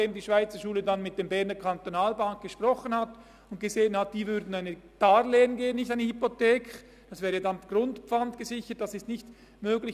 Die Schweizerschule hat mit der BEKB gesprochen, die ein Darlehen geben würde – nicht eine Hypothek, diese wäre grundpfandgesichert, und das ist im Ausland nicht möglich.